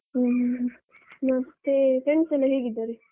ಹ್ಮ ಮತ್ತೆ friends ಎಲ್ಲ ಹೇಗಿದ್ದಾರೆ?